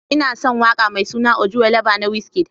Ina son waƙar mai suna: Ojuelegba na Wizkid.